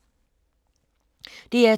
DR2